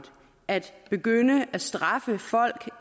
at begynde at straffe folk